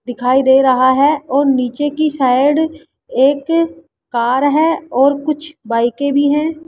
दिखाई दे रहा है और नीचे की साइड एक कार है और कुछ बाईकें भी हैं।